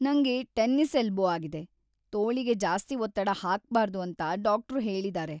ನಂಗೆ tennis elbow ಆಗಿದೆ, ತೋಳಿಗೆ ಜಾಸ್ತಿ ಒತ್ತಡ ಹಾಕ್ಬಾರ್ದು ಅಂತ ಡಾಕ್ಟ್ರು ಹೇಳಿದಾರೆ.